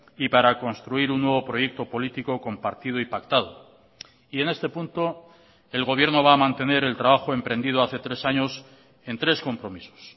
y para construir un nuevo proyecto político compartido y pactado y en este punto el gobierno va a mantener el trabajo emprendido hace tres años en tres compromisos